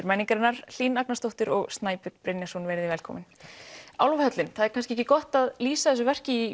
menningarinnar Hlín Agnarsdóttir og Snæbjörn Brynjarsson verið velkomin það er kannski ekki gott að lýsa þessu verki í